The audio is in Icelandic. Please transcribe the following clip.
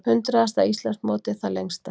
Hundraðasta Íslandsmótið það lengsta